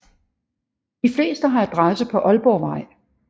De fleste har adresse på Ålborgvej